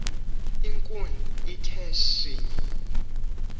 inkun ithe shinyi